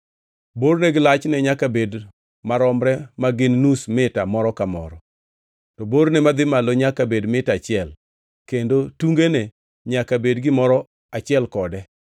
Borne gi lachne nyaka bed maromre ma gin nus mita moro ka moro, to borne madhi malo nyaka bed mita achiel, kendo tungene nyaka bed gimoro achiel kode.